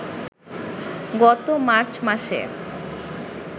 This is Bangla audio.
গত মার্চ মাসে